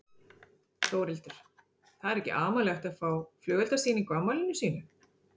Þórhildur: Það er ekki amalegt að fá flugeldasýningu á afmæli sínu?